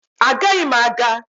Agaghị m aga